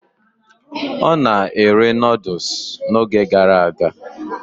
Ọ na-ere Nụ́dúls n'oge gara aga